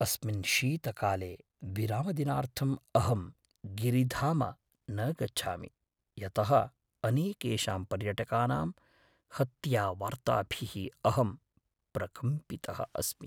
अस्मिन् शीतकाले विरामदिनार्थम् अहं गिरिधाम न गच्छामि, यतः अनेकेषां पर्यटकानां हत्यावार्ताभिः अहं प्रकम्पितः अस्मि।